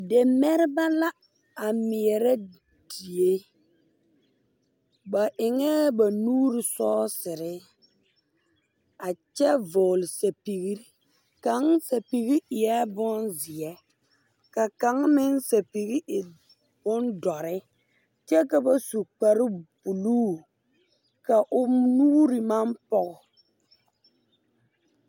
Demɛrebɛ la a mɛɛrɛ die ba eŋɛɛ ba nuure sɔɔserre a kyɛ vɔgle sɛpigre kaŋ aɛpige eɛɛ bonzeɛ ka kaŋ meŋ sɛpige e bon dɔre kyɛ ka ba su kparebluu ka o nuure maŋ pɔge.